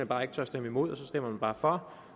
bare ikke tør stemme imod og så stemmer man bare for